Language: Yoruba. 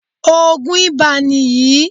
Òògùn ibà ni yìí.